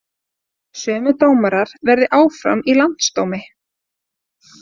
Sömu dómarar verði áfram í landsdómi